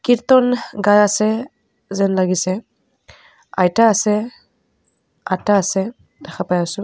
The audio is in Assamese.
কীৰ্ত্তন গাই আছে যেন লাগিছে আইতা আছে আতা আছে দেখা পাই আছোঁ.